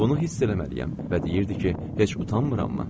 Bunu hiss eləməliyəm və deyirdi ki, heç utanmırammı?